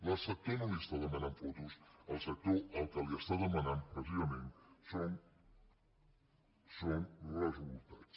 el sector no li està demanant fotos el sector el que li està demanant precisament són resultats